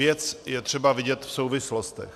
Věc je třeba vidět v souvislostech.